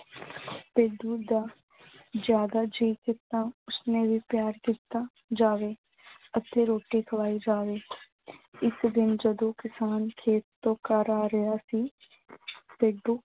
ਭੇਡੂ ਦਾ ਜ਼ਿਆਦਾ ਜੀਅ ਕੀਤਾ ਉਸਨੇ ਵੀ ਪਿਆਰ ਕੀਤਾ ਜਾਵੇ ਅਤੇ ਰੋਟੀ ਖਵਾਈ ਜਾਵੇ। ਇੱਕ ਦਿਨ ਜਦੋਂ ਕਿਸਾਨ ਖੇਤ ਤੋਂ ਘਰ ਆ ਰਿਹਾ ਸੀ, ਭੇਡੂ